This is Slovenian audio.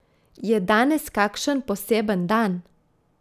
Je danes kakšen poseben dan?